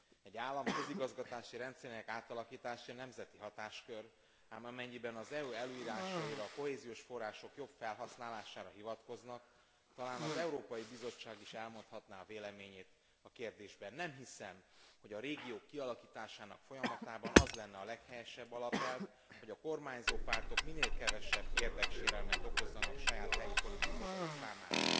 Egy állam közigazgatási rendszerének átalakítása nemzeti hatáskör, ám amennyiben az EU előírásaira, a kohéziós források jobb felhasználására hivatkoznak, talán az Európai Bizottság is elmondhatná a véleményét a kérdésben. Nem hiszem, hogy a régiók kialakításának folyamatában az lenne a leghelyesebb alapelv, hogy a kormányzó pártok minél kevesebb érdeksérelmet okozzanak saját, helyi politikusaik számára.